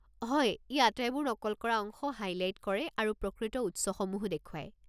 হয়, ই আটাইবোৰ নকল কৰা অংশ হাইলাইট কৰে আৰু প্ৰকৃত উৎসসমূহো দেখুৱায়।